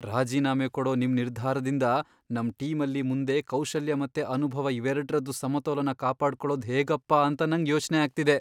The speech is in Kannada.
ರಾಜೀನಾಮೆ ಕೊಡೋ ನಿಮ್ ನಿರ್ಧಾರದಿಂದ ನಮ್ ಟೀಮಲ್ಲಿ ಮುಂದೆ ಕೌಶಲ್ಯ ಮತ್ತೆ ಅನುಭವ ಇವೆರಡ್ರದ್ದೂ ಸಮತೋಲನ ಕಾಪಾಡ್ಕೊಳೋದ್ ಹೇಗಪ್ಪ ಅಂತ ನಂಗ್ ಯೋಚ್ನೆ ಆಗ್ತಿದೆ.